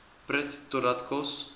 prut totdat kos